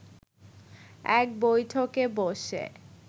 এক বৈঠকে বসে